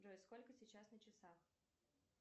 джой сколько сейчас на часах